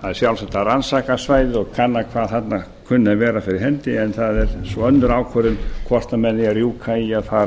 það er sjálfsagt að rannsaka svæðið og kanna hvað þarna þurfi að vera fyrir hendi en það er svo önnur ákvörðun hvort menn eiga að rjúka í að fara að